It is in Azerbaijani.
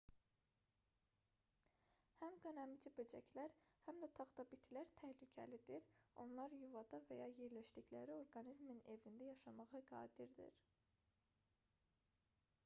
həm qanəmici böcəklər həm də taxtabitilər təhlükəlidir onlar yuvada və ya yerləşdikləri orqanizmin evində yaşamağa qadirdir